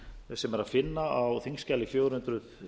sem er að finna á þingskjali níu hundruð